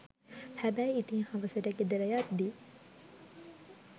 හැබැයි ඉතින් හවසට ගෙදර යද්දී